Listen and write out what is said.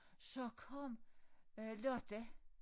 Så kom øh lørdag